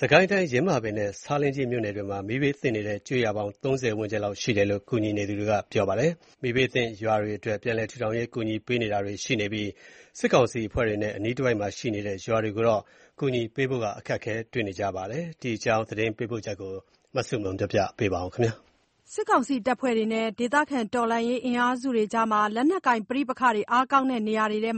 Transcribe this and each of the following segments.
စစ်ကိုင်းတိုင်း၊ ယင်းမာပင်နဲ့ ဆားလင်းကြီး မြို့နယ်တွေမှာ မီးဘေးသင့်နေတဲ့ ကျေးရွာပေါင်း ၃၀ ဝန်းကျင်လောက် ရှိတယ်လို့ ကူညီနေသူတွေက ပြောပါတယ်။ မီးဘေးသင့် ရွာတွေအတွက် ပြန်လည်ထူထောင်ရေး ကူညီပေးတာတွေ ရှိနေပြီး၊ စစ်ကောင်စီအဖွဲ့တွေနဲ့ အနီးတဝိုက်မှာ ရှိနေတဲ့ ရွာတွေကိုတော့ ကူညီပေးနိုင်ဖို့က အခက်တွေ့နေပါတယ်။ ဒီအကြောင်း သတင်းပေးပို့ချက်ကို မဆုမွန်က ပြောပြမှာပါ။ စစ်ကောင်စီတပ်ဖွဲ့နဲ့ ဒေသခံတော်လှန်ရေး အင်အားစုတွေကြား လက်နက်ကိုင် ပဋိပက္ခအားကောင်းတဲ့ နေရာတွေထဲ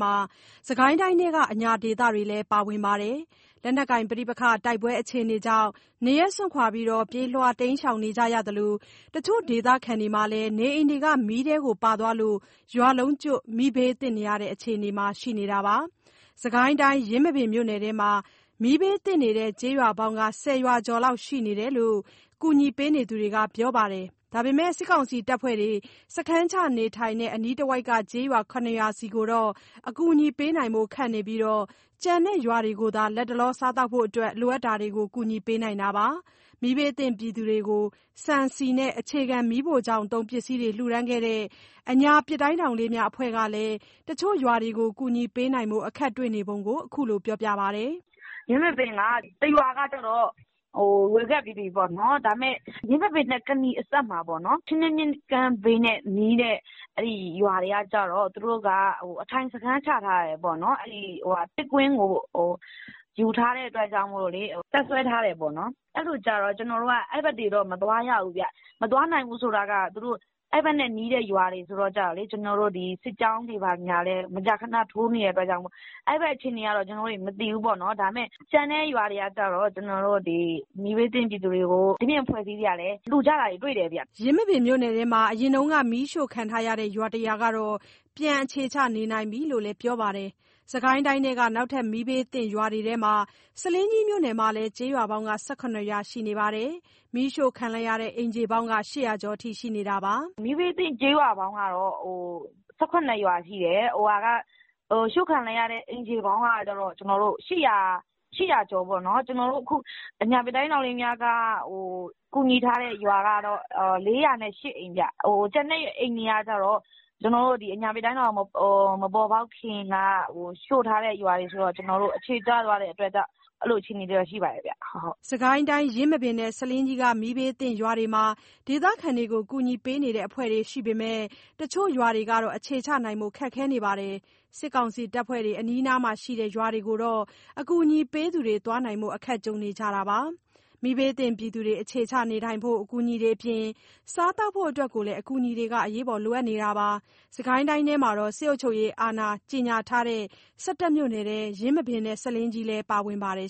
စစ်ကိုင်းတိုင်းထဲက အညာဒေသတွေလည်း ပါဝင်ပါတယ်။ လက်နက်ကိုင် ပဋိပက္ခ တိုက်ပွဲအခြေအနေကြောင့် နေရပ်စွန့် ပြေးလွှားနေရသလို၊ တချို့ဒေသခံတွေမှာလည်း နေအိမ်မီးထဲ ပါသွားလို့ ရွာလုံးကျွတ် မီးဘေးသင့်နေရတဲ့ အခြေအနေမှာ ရှိနေတာပါ။ စစ်ကိုင်းတိုင်း၊ ယင်းမာပင်မြို့နယ်ထဲမှာ မီးဘေးသင့်နေတဲ့ ကျေးရွာပေါင်းက ၁၀ ရွာကျော်လောက် ရှိတယ်လို့ ကူညီနေသူတွေက ပြောပါတယ်။ ဒါပေမဲ့ စစ်ကောင်စီတပ်ဖွဲ့တွေ စခန်းချနေထိုင်တဲ့ အနီးတဝိုက်က ကျေးရွာ ၇ ရွာဆီကိုတော့ အကူအညီပေးနိုင်ဖို့ ခက်နေပြီး၊ ကျန်တဲ့ရွာတွေကိုသာ လတ်တလောစားသောက်ဖို့အတွက် လိုအပ်တာတွေကို ကူညီပေးနိုင်တာပါ။ မီးဘေးသင့်ပြည်သူတွေကို ဆန်၊ ဆီနဲ့ အခြေခံ မီးဖိုချောင်သုံး ပစ္စည်းတွေ လှူဒါန်းခဲ့တဲ့ အညာပစ်တိုင်းထောင်လေးများ အဖွဲ့ကလည်း တချို့ရွာတွေကို ကူညီပေးနိုင်ဖို့ အခက်တွေ့နေပုံကို အခုလိုပြောပါတယ်။ "ယင်းမာပင်က တရွာကကျတော့ ဝေခဲ့ပြီးပြီပေါ့နော်။ ဒါပေမဲ့ ယင်းမာပင်နဲ့ ကနီအစပ်၊ ချင်းတွင်းမြစ်ကမ်း ဘေးနဲ့နီးတဲ့ ရွာတွေကကျတော့ အထိုင်စခန်း ချထားတယ်ပေါ့နော်။ အဲဒီ ပစ်ကွင်းကို ယူထားတဲ့အတွက် တပ်စွဲထားတယ်ပေါ့နော်။ အဲလိုကျတော့ အဲဘက်တွေတော့ မသွားရဘူး။ မသွားနိုင်ဘူး ဆိုတာက အဲဒီဘက်နဲ့ နီးတဲ့ရွာတွေ ဆိုတော့လေ စစ်ကြောင်းတွေကလည်း မကြာခဏ ထိုးနေတဲ့အတွက်ကြောင့် အဲဒီဘက် အခြေအနေကတော့ မသိဘူးပေါ့နော်။ ဒါပေမဲ့ ကျန်တဲ့ရွာတွေကကျတော့ မီးဘေးသင့် ပြည်သူတွေကို ဒီပြင့် အဖွဲ့အစည်းတွေကလည်း လှူကြတာ တွေ့တယ်။" ယင်းမာပင်မြို့နယ်ထဲမှာ အရင်က မီးရှို့ခံထားရတဲ့ ရွာတရွာကတော့ ပြန်အခြေချ နေနိုင်ပြီလို့လည်း ပြောပါတယ်။ စစ်ကိုင်းတိုင်းထဲက နောက်ထပ်မီးဘေးသင့် ရွာတွေထဲမှာ ဆားလင်းကြီးမြို့နယ်မှာလည်း ကျေးရွာပေါင်း ၁၇ ရွာ ရှိနေပါတယ်။ မီးရှို့ခံလိုက်ရတဲ့ အိမ်ခြေပေါင်းက ၈၀၀ ကျော်အထိ ရှိနေတာပါ။ "မီးဘေးသင့် ကျေးရွာပေါင်းကတော့ ၁၇ ရွာရှိတယ်။ ရှို့ခံလိုက်ရတဲ့ အိမ်ခြေပေါင်းကတော့ ၈၀၀ ကျော်ပေါ့နော်။ အခု အဖွဲ့အနေနဲ့ ကူညီထားတဲ့ အိမ်ခြေပေါင်းကတော့ ၄၀၈ အိမ်ရှိပြီ။ ကျန်တဲ့ အိမ်ခြေတွေကကျတော့ အဖွဲ့မပေါ်ပေါက်ခင်က ရှို့ခံထားရတဲ့ ရွာတွေဆိုတော့ အခြေကျသွားတဲ့ အခြေအနေတွေလည်း ရှိပါတယ်။" စစ်ကိုင်းတိုင်း၊ ယင်းမာပင်နဲ့ ဆားလင်းကြီးက မီးဘေးသင့်ရွာတွေမှာ ဒေသခံတွေကို ကူညီပေးနေတဲ့ အဖွဲ့တွေ ရှိပေမယ့် တချို့ရွာတွေကတော့ အခြေချနိုင်ဖို့ ခက်ခဲနေပါတယ်။ စစ်ကောင်စီအဖွဲ့တွေ အနီးနားမှာရှိနေတဲ့ ရွာတွေကိုတော့ အကူအညီပေးသူတွေ သွားနိုင်ဖို့ အခက်ကြုံနေတာပါ။ မီးဘေးသင့်ပြည်သူတွေ အခြေချနေထိုင်ဖို့ အကူအညီတွေအပြင် စားသောက်ဖို့အတွက်လည်း အကူအညီတွေက လိုအပ်နေတာပါ။ စစ်ကိုင်းတိုင်းထဲမှာ စစ်အုပ်ချုပ်ရေးအာဏာ ကြေညာထားတဲ့ ၁၁ မြို့နယ်ထဲ ယင်းမာပင်နဲ့ ဆားလင်းကြီးလည်း ပါဝင်ပါတယ်